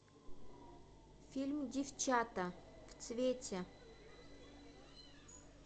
фильм девчата в цвете